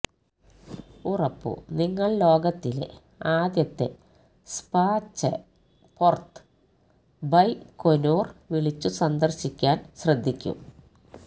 ഉറപ്പു നിങ്ങൾ ലോകത്തിലെ ആദ്യത്തെ സ്പചെപൊര്ത് ബൈകൊനുര് വിളിച്ചു സന്ദർശിക്കാൻ ശ്രദ്ധിക്കും